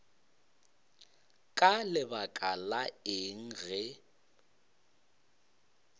ka lebaka la eng ge